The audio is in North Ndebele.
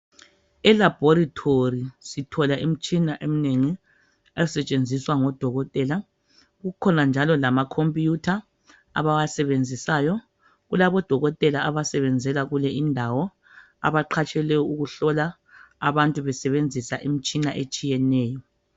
Elabhorethori sithola imitshina eminengi, esetshenziswa ngodokotela kukhona njalo lama khompuyutha abawasebenzisayo, kulabo dokotela abasebenzela kule indawo abaqhatshelwe ukuhlola abantu besebenzisa imitshina etshiyeneyo.